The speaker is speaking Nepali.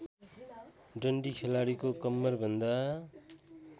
डन्डी खेलाडीको कम्मरभन्दा